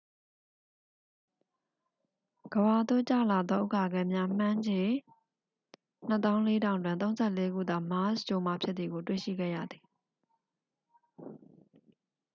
ကမ္ဘာသို့ကျလာသော ဥက္ကာခဲများ မှန်းခြေ 24000 တွင် 34ခုသာ မားစ်ဂြိုဟ်မှဖြစ်သည်ကို တွေ့ရှိခဲ့ရသည်